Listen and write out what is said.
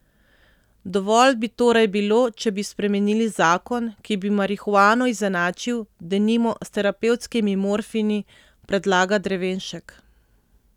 Dovolj bi torej bilo, če bi spremenili zakon, ki bi marihuano izenačil, denimo, s terapevtskimi morfini, predlaga Drevenšek.